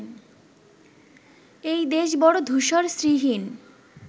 এই দেশ বড় ধূসর শ্রীহীন